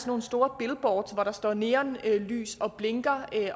nogle store billboards hvor der står neonlys og blinker